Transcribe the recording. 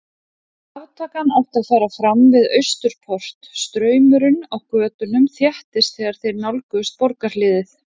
Aftakan átti að fara fram við Austurport, straumurinn á götunum þéttist þegar þeir nálguðust borgarhliðið.